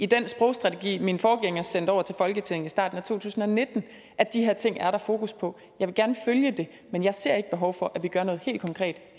den sprogstrategi min forgænger sendte over til folketinget i starten af to tusind og nitten at de her ting er der fokus på jeg vil gerne følge det men jeg ser ikke behov for at vi gør noget helt konkret